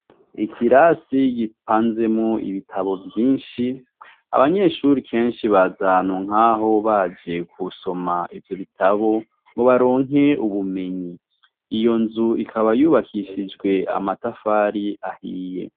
Ikirasi giapanzemwo ibitabo vyinshi ,abanyeshure kenshi baza ahantu nk'aho baje gusoma ivyo bitabo ngo baronke ubumenyi. Iyo nzu ikaba yubakishijwe amatafari ahiye.